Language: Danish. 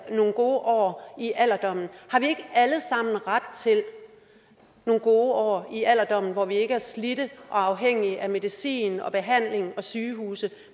nogle gode år i alderdommen har vi ikke alle sammen ret til nogle gode år i alderdommen hvor vi ikke er slidte og afhængige af medicin og behandling og sygehuse